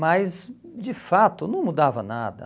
Mas, de fato, não mudava nada.